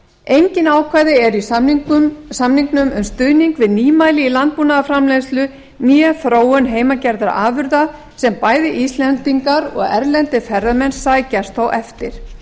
engin ákvæði eru í samningnum um stuðning við nýmæli í landbúnaðarframleiðslu né þróun heimagerðra afurða sem bæði íslendingar og erlendir ferðamenn sækjast þó eftir